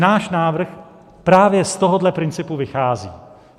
Náš návrh právě z tohohle principu vychází.